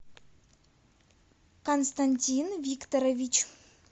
константин викторович